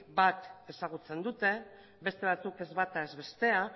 bat ezagutzen dute beste batzuk ez bata ez bestea